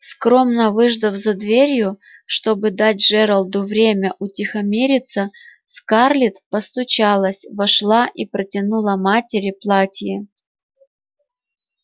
скромно выждав за дверью чтобы дать джералду время утихомириться скарлетт постучалась вошла и протянула матери платье